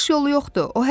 Çıxış yolu yoxdur.